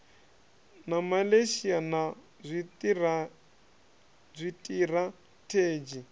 na malaysia a na zwitirathedzhi